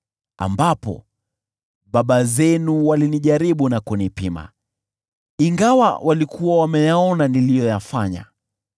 ambapo baba zenu walinijaribu na kunipima, ingawa walikuwa wameyaona matendo yangu.